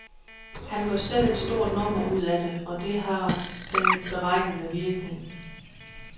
Han gør selv et stort nummer ud af det, og det har den beregnede virkning.